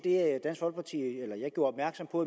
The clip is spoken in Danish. gjorde opmærksom på